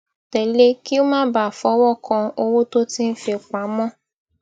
télè kí ó má bàa fọwó kan owó tó ti fi pa mó